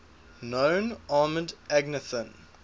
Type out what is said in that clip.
known armoured agnathan